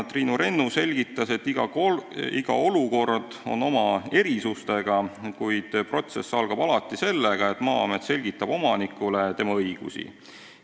Triinu Rennu selgitas, et iga olukord on erinev, kuid protsess algab alati sellega, et Maa-amet selgitab omanikule tema õigusi.